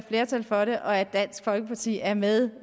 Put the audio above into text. flertal for det og at dansk folkeparti er med